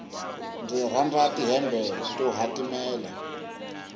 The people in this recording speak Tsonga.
ndzi rhandza ti hembe to hatimela